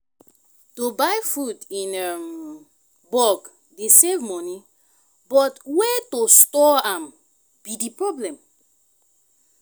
to buy food in um bulk dey save money but way to store am be di problem.